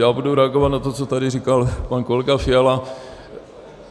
Já budu reagovat na to, co tady říkal pan kolega Fiala.